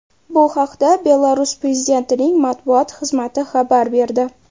Bu haqda Belarus prezidentining matbuot xizmati xabar berdi .